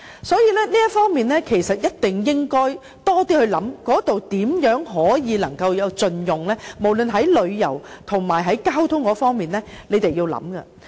所以，這方面一定要多想想如何盡用該地方，無論在旅遊或交通方面，政府也要思考一下。